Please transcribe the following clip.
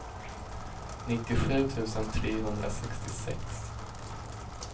nittiosju tusen trehundrasextiosex